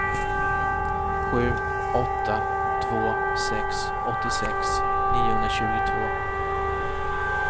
sju åtta två sex åttiosex niohundratjugotvå